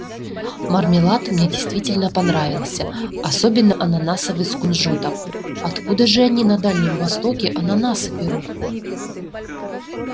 мармелад мне действительно понравился особенно ананасовый с кунжутом откуда же они на дальнем востоке ананасы берут